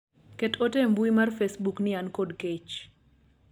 ket ote e mbui mar facebook ni an kod kech